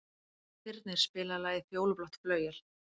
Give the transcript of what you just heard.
Þyrnir, spilaðu lagið „Fjólublátt flauel“.